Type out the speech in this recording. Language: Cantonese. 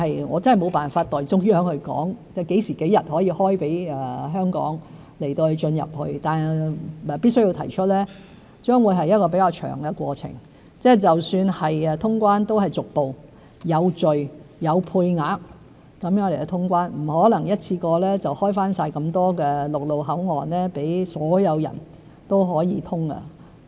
我真的沒辦法代中央說何時、何日可開放內地給香港市民，但必須指出這將會是比較長的過程，即使能夠通關都是逐步、有序、有配額下通關，不可能一次過開放全部陸路口岸予所有人。